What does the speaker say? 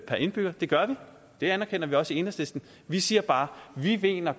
per indbygger det gør vi det anerkender vi også i enhedslisten vi siger bare at vi mener at